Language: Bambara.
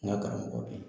N ka karamɔgɔ bɛ yen